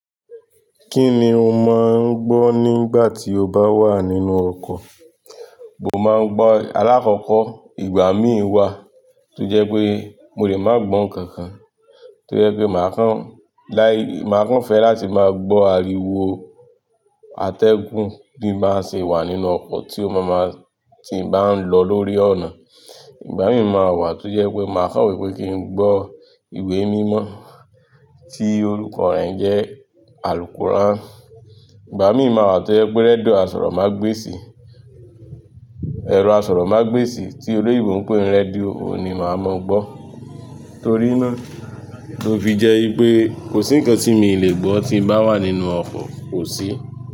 Kí ni o máa ń gbọ́ nígbà tí o bá wà nínú ọkọ̀? Mo máa ń gbọ́ alákọ̀ọ́kọ́, ìgbà mí wá tó jẹ́ pé mo lè máa gbọ̀n nkankan. To jẹ́ pé màá kàn láì, màá kàn fẹ́ láti máa gbọ́ ariwo atẹ́gùn bí n bá se wà nínú ọkọ̀ tí ó máa máa, tí n bá ń lọ lórí ọ̀nà. Ìgbà mí ì má wá tó jẹ́ pé màá kàn wípé kí n gbọ́ ìwé mímọ́ tí orúkọ rẹ̀ ń jẹ́ àlùqùrán. Ìgbà mí má wá tó jẹ́ pé rẹ́díò Asọ̀rọ̀mágbèsì, ẹ̀rọ Asọ̀rọ̀mágbèsì tí olè ìbò ń pè ní radio ni màá máa gbọ́. Torí náà, ló fi jẹ́ wípé kò sí ǹkan tí mii lè gbọ́ tí ń bá wà nínú ọkọ̀, kò sí.